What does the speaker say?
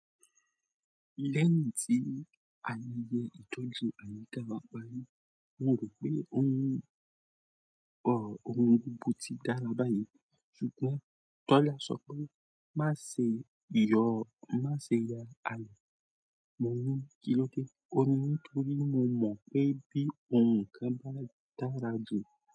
Lẹ́yìn tí ayọ̀ yẹ ìtọ́jú àyíká wa parí, wọ́n rò pé ohun òhún bú tí dára báyìí. Ṣùgbọ́n Tọ́lá sọ pé, "Má ṣe ìyọ́, má ṣe yà ayọ̀." Mò ní, "Kí ló dé?" Ó ní, "Nítorí mo mọ̀ pé bí òhùn kan bá dàrà jù."